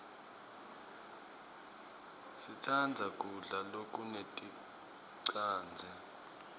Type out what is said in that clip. sitsandza kudla lokuneticadze